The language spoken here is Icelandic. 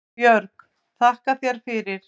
Björg: Þakka þér fyrir